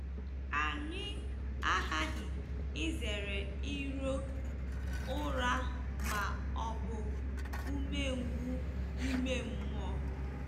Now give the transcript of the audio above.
Anyị aghaghị izere iro ụra ma ọ bụ umengwụ ime mmụọ.